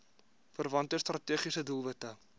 verwante strategiese doelwitte